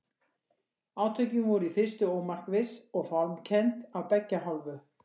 Átökin voru í fyrstu ómarkviss og fálmkennd af beggja hálfu.